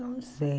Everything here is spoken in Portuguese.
Eu não sei.